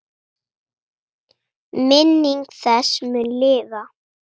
Minning þessi mun lifa.